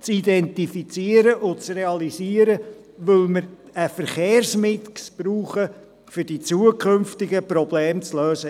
Es geht darum, diese Orte zu identifizieren und zu realisieren, weil wir einen Verkehrsmix brauchen, um die zukünftigen Probleme zu lösen.